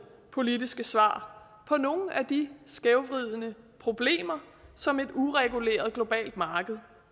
politiske svar på nogle af de skævvridende problemer som et ureguleret globalt marked